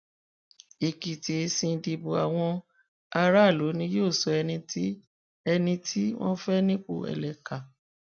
èkìtì èsì ìdìbò àwọn aráàlú ni yóò sọ ẹni tí ẹni tí wọn fẹ nípò ẹlẹkà